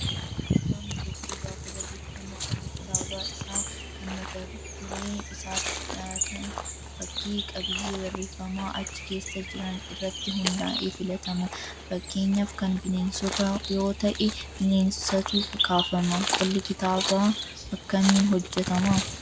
Kitaabni tokko gaafa barreeffamu qolli kitaaba isaa kan mata furee isaatti dhiyaatan fakkii qabiyyee barreeffama achi keessa jiran irratti hundaa'ee filatama. Fakkeenyaaf kan bineensotaa yoo ta'e, bineensatu kaafama. Qolli kitaabaa akkamiin hojjatama?